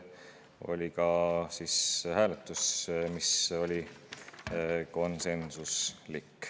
Oli ka hääletus, mis oli konsensuslik.